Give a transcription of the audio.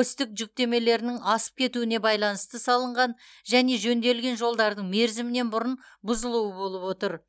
осьтік жүктемелерінің асып кетуіне байланысты салынған және жөнделген жолдардың мерзімінен бұрын бұзылуы болып отыр